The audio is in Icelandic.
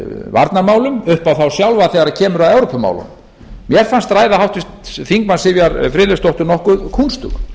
varnarmálum upp á þá sjálfa þegar kemur að evrópumálunum mér fannst ræða háttvirts þingmanns sivjar friðleifsdóttur nokkuð kúnstug